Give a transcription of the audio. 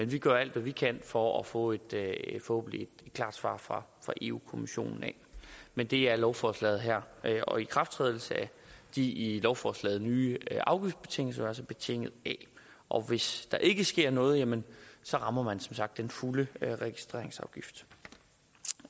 vi gør alt hvad vi kan for at få et forhåbentlig klart svar fra europa kommissionen men det er lovforslaget her og ikrafttrædelse af de i lovforslaget nævnte nye afgiftsbetingelser altså betinget af og hvis der ikke sker noget jamen så rammer man som sagt den fulde registreringsafgift